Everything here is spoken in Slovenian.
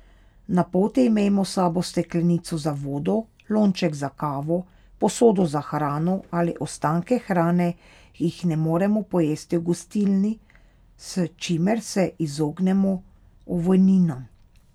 Na poti imejmo s sabo steklenico za vodo, lonček za kavo, posodo za hrano ali ostanke hrane, ki jih ne moremo pojesti v gostilni, s čimer se izognemo ovojninam.